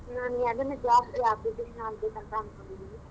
ನಾನ್ ಯದಾನು job ಗೆ application ಹಾಕ್ಬೇಕಂತಾ ಅನ್ಕೊಂಡಿದಿನಿ.